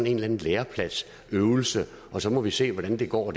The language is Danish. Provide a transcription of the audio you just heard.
en eller anden lærepladsøvelse og så må vi se hvordan det går